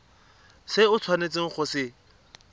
se o tshwanetseng go se